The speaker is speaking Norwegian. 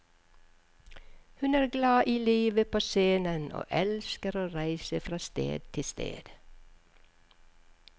Hun er glad i livet på scenen og elsker å reise fra sted til sted.